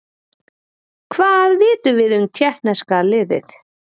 Hvað vitum við um Tékkneska liðið?